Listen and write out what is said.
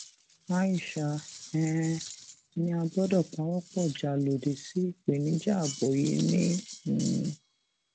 aisha um ni a gbọdọ pawọpọ já lòdì sí ìpèníjà ààbò yìí ni um